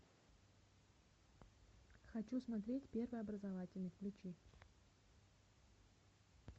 хочу смотреть первый образовательный включи